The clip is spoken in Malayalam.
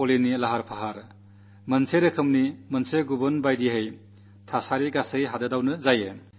അതോടൊപ്പം ദീപാവലിക്കുള്ള തയ്യാറെടുപ്പുകളും ചേർന്ന് ഒരു വേറിട്ട അന്തരീക്ഷം സൃഷ്ടിക്കും